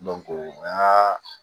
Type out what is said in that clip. an ka